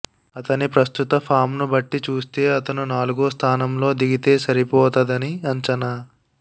అతని ప్రస్తుత ఫామ్ను బట్టి చూస్తే అతను నాలుగో స్థానంలో దిగితే సరిపోతదని అంచనా